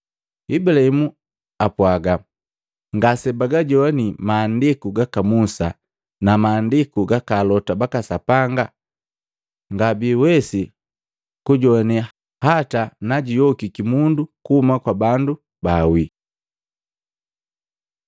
Ibulahimu ampwaga, ‘Ngasebaajowani Maandiku gaka Musa na Maandiku gaka alota baka Sapanga, ngabiiwesi kujoane hata najuyokiki mundu kuhuma kwa bandu baawii.’ ”